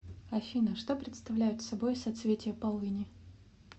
афина что представляют собой соцветия полыни